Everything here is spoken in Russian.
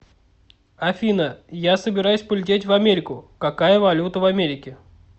афина я собираюсь полететь в америку какая валюта в америке